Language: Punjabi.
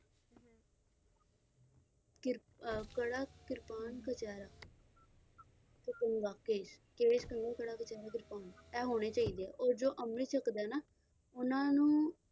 ਕਿਰਪ ਅਹ ਕੜਾ, ਕਿਰਪਾਨ, ਕਛਹਿਰਾ, ਤੇ ਕੰਘਾ, ਕੇਸ, ਕੇਸ, ਕੰਘਾ, ਕੜਾ, ਕਛਹਿਰਾ, ਕਿਰਪਾਨ ਇਹ ਹੋਣੇ ਚਾਹੀਦੇ ਆ ਔਰ ਜੋ ਅੰਮ੍ਰਿਤ ਛੱਕਦਾ ਐ ਨਾ ਉਹਨਾਂ ਨੂੰ